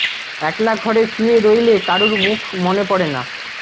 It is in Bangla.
একলা ঘরে শুয়ে রইলে কারুর মুখ মনে পড়ে না